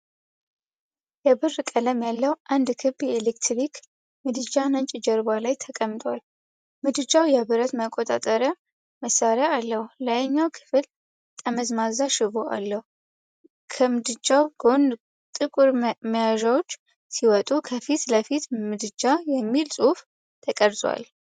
የብር ቀለም ያለው አንድ ክብ የኤሌክትሪክ ምድጃ ነጭ ጀርባ ላይ ተቀምጧል። ምድጃው የብረት መቆጣጠሪያ መሣሪያ አለው፣ ላይኛው ክፍል ጠመዝማዛ ሽቦ አለው። ከምድጃው ጎን ጥቁር መያዣዎች ሲወጡ፣ ከፊት ለፊት "ምድጃ" የሚል ጽሑፍ ተቀርጿል።